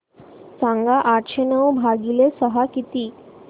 सांगा आठशे नऊ भागीले सहा किती